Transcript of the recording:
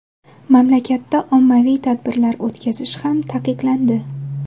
Mamlakatda ommaviy tadbirlar o‘tkazish ham taqiqlandi.